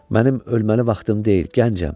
Mənim ölməli vaxtım deyil, gəncəm.